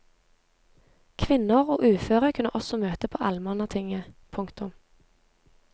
Kvinner og uføre kunne også møte på allmannatinget. punktum